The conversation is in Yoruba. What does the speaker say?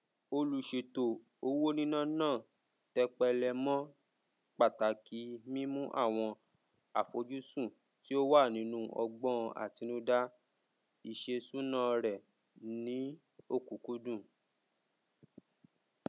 olùṣètò owó níná náà tẹpẹlẹ mọ pàtàkì mímú àwọn àfojúsùn tí ó wà nínú ọgbọn àtinúdá iṣèṣúná rẹ ní ọkúkúdùn